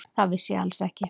Það vissi ég alls ekki.